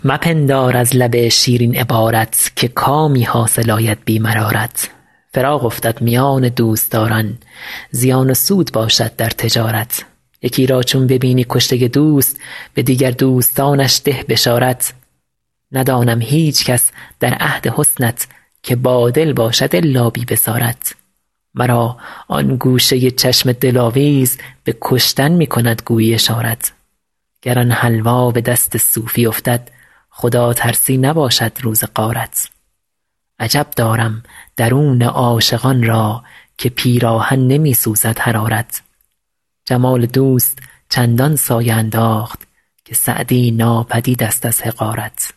مپندار از لب شیرین عبارت که کامی حاصل آید بی مرارت فراق افتد میان دوستداران زیان و سود باشد در تجارت یکی را چون ببینی کشته دوست به دیگر دوستانش ده بشارت ندانم هیچکس در عهد حسنت که بادل باشد الا بی بصارت مرا آن گوشه چشم دلاویز به کشتن می کند گویی اشارت گر آن حلوا به دست صوفی افتد خداترسی نباشد روز غارت عجب دارم درون عاشقان را که پیراهن نمی سوزد حرارت جمال دوست چندان سایه انداخت که سعدی ناپدید ست از حقارت